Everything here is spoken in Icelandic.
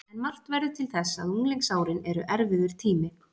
En margt verður til þess að unglingsárin eru erfiður tími.